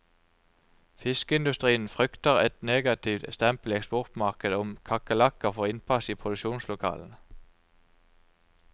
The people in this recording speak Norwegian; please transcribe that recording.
Fiskeindustrien frykter et negativt stempel i eksportmarkedet om kakerlakker får innpass i produksjonslokalene.